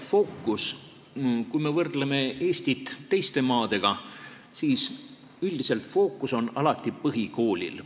Fookus, kui me võrdleme Eestit teiste maadega, on üldiselt alati põhikoolil.